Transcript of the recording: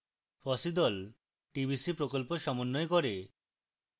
fossee the tbc প্রকল্প সমন্বয় করে